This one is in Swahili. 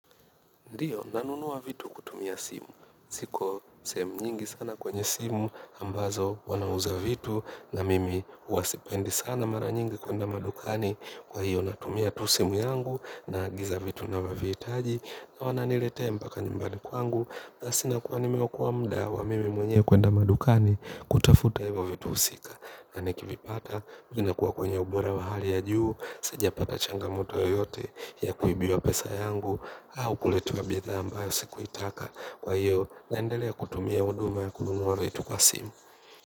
Ndiyo, nanunua vitu kutumia simu. Siko sehemu nyingi sana kwenye simu ambazo wanauza vitu na mimi huwa sipendi sana mara nyingi kwenda madukani kwa hiyo natumia tu simu yangu naagiza vitu ninavyovihitaji na wananilete mpaka nyumbani kwangu. Basi nakuwa nimeokoa mda wa mimi mwenye kuenda madukani kutafuta hivo vitu husika. Na nikivipata, vinakuwa kwenye ubora wa hali ya juu. Sijapata changamoto yoyote ya kuibiwa pesa yangu au kuletewa bidhaa ambayo sikuitaka kwa hiyo naendelea kutumia huduma ya kununua vitu kwa simu.